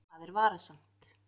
Það er varasamt.